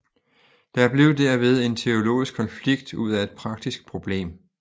Der blev derved en teologisk konflikt ud af et praktisk problem